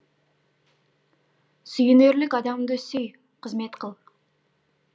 сүйенерлік адамды сүй қызмет қыл